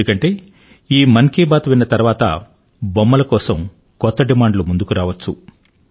ఎందుకంటే ఈ మన్ కీ బాత్ ను విన్న తరువాత బొమ్మల కోసం కొత్త డిమాండ్ లు ముందుకు రావచ్చు